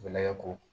Gɛlɛya ko